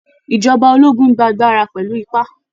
Ìjọba ológun n gba agbára pẹ̀lú ipá